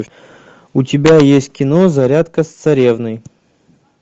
у тебя есть кино зарядка с царевной